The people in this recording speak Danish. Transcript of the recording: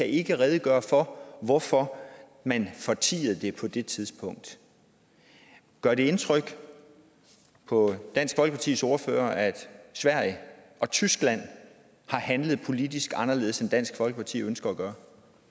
ikke kan redegøre for hvorfor man fortiede det på det tidspunkt gør det indtryk på dansk folkepartis ordfører at sverige og tyskland har handlet politisk anderledes end dansk folkeparti ønsker